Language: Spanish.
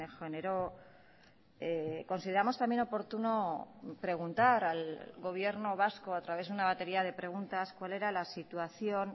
generó consideramos también oportuno preguntar al gobierno vasco a través de una batería de preguntas cuál era la situación